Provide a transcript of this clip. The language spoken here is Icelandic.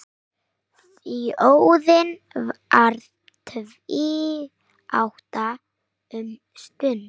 Þjóðin varð tvíátta um stund.